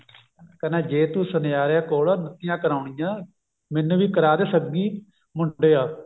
ਜੇ ਤੂੰ ਸੁਨਿਆਰੇ ਕੋਲੋ ਨੱਤੀਆਂ ਕਰਵਾਉਣੀ ਆ ਮੈਨੂੰ ਵੀ ਕਰ ਦੇ ਸੱਗੀ ਮੁੰਡਿਆ